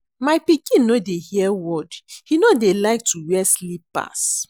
My pikin no dey hear word, he no dey like to wear slippers